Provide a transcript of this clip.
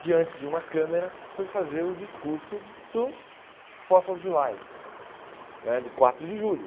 diante de uma câmera, foi fazer o discurso do né de quatro de julho.